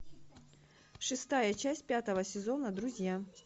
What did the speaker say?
шестая часть пятого сезона друзья